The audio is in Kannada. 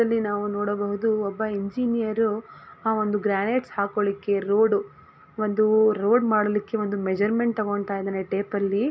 ಇಲ್ಲಿ ನಾವು ನೋಡಬಹುದು ಒಬ್ಬ ಇಂಜಿನಿಯರ್ ಆ ಒಂದು ಗ್ರಾನೈಟ್ಸ್ ಹಾಕ್ಕೊಲಿಕ್ಕೆ ರೋಡ ಒಂದು ರೋಡ್ ಮಾಡ್ಲಿಕ್ಕೆ ಒಂದು ಮೆಸ್ಸರಮೆಂಟ್ ತೊಗೊಂತಾಯಿದಾನೆ ಟೇಪಲ್ಲಿ .